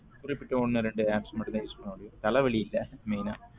குறிப்பிட்ட ஒன்னு ரெண்டு apps மட்டும் தான் use பண்ண முடியும் தல வலி இல்ல main ஆ